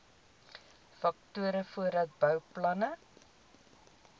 faktore voordat bouplanne